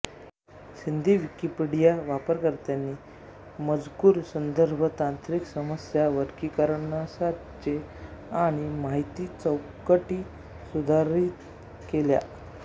Sindhi Wikipedia वापरकर्त्यांनी मजकूर संदर्भ तांत्रिक समस्या वर्गीकरणसाचे आणि माहितीचौकटी सुधारित केल्या